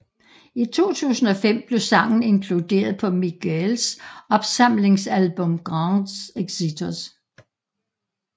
I 2005 blev sangen inkluderet på Miguels opsamlingsalbum Grandes Éxitos